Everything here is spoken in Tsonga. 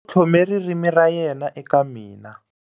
U tlhome ririmi ra yena eka mina.